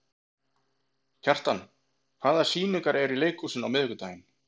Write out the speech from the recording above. Kjartan, hvaða sýningar eru í leikhúsinu á miðvikudaginn?